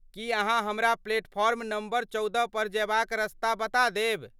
की अहाँ हमरा platform number चौदह पर जयबाक रस्ता बता देब ?